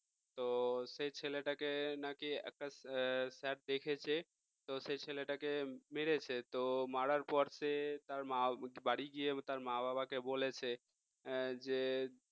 তো সেই ছেলেটাকে নাকি sir দেখেছে তো সেই ছেলেটাকে মেরেছে তো মারার পর সে তার বাড়ি গিয়ে তার মা-বাবাকে বলেছে যে